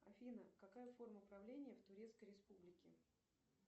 афина какая форма правления в турецкой республике